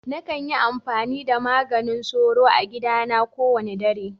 Na kan yi amfani da maganin soro a gida na ko wani dare.